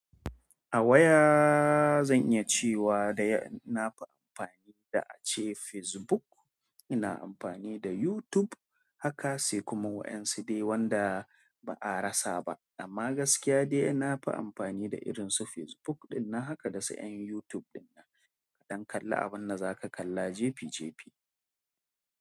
A waya zan iya cewa dai na fi amfani da ace Facebook. Ina amfani da YouTube haka, sai kuma wa ƴan su dai wanda ba a rasa ba. Amma gaskiya dai na fi amfani da irin su Facebook ɗin nan haka da su ƴan YouTube ɗin na. Dan kalla abun da za ka kalla jefi jefi.